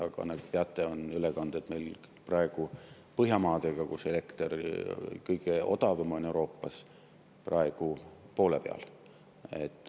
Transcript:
Aga nagu te teate, on ülekanded Põhjamaadest, kus elekter on Euroopa kõige odavam, praegu poole peal.